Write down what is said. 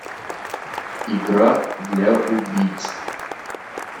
игра для убийц